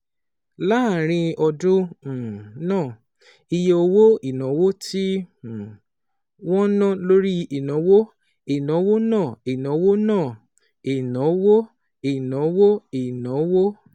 Láàárín ọdún um náà, iye owó ìnáwó tí um wọ́n ná lórí ìnáwó ìnáwó náà ìnáwó náà (ìnáwó ìnáwó ìnáwó)